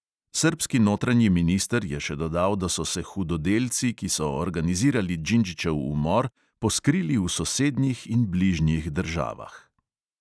Srbski notranji minister je še dodal, da so se hudodelci, ki so organizirali džindžićev umor, poskrili v sosednjih in bližnjih državah.